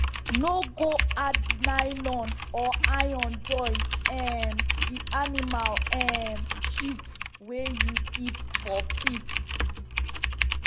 no go add nylon or iron join um the animal um shit wey you keep for pit.